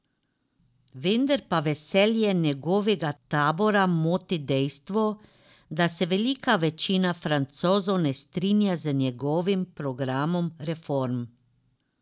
Vendar pa veselje njegovega tabora moti dejstvo, da se velika večina Francozov ne strinja z njegovim programom reform.